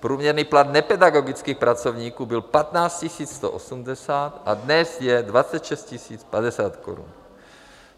Průměrný plat nepedagogických pracovníků byl 15 180 a dnes je 26 050 korun.